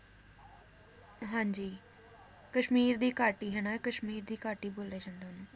ਹਾਂਜੀ ਕਸ਼ਮੀਰ ਦੀ ਘਾਟੀ ਹੈ ਨ ਕਸ਼ਮੀਰ ਦੀ ਘਾਟੀ ਬੋਲਿਆ ਜਾਂਦਾ ਓਹਨੂੰ